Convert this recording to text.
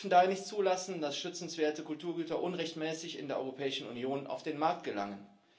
Wir dürfen daher nicht zulassen, dass schützenswerte Kulturgüter unrechtmäßig in der Europäischen Union auf den Markt gelangen.